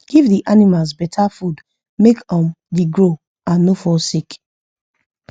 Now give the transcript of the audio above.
give the animals beta food make um the grow and no fall sick